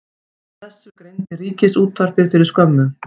Frá þessu greindi Ríkissjónvarpið fyrir skömmu